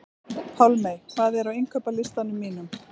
Pálmey, hvað er á innkaupalistanum mínum?